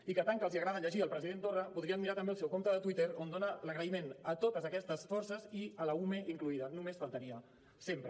i que tant que els agrada llegir el president torra podrien mirar també el seu compte de twitter on dona l’agraïment a totes aquestes forces i l’ume inclosa només faltaria sempre